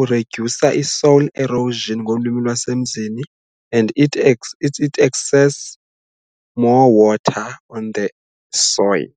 uridyusa i-soil erosion ngolwimi lwasemzini and it it access more water on the soil.